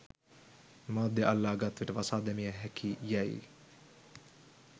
මාධ්‍ය අල්ලා ගත් විට වසා දැමිය හැකි යැයි